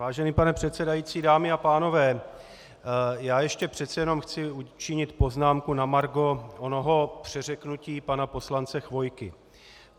Vážený pane předsedající, dámy a pánové, já ještě přece jenom chci učinit poznámku na margo onoho přeřeknutí pana poslance Chvojky.